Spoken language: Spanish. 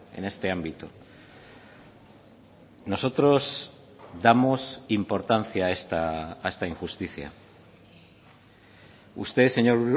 en este ámbito nosotros damos importancia a esta injusticia usted señor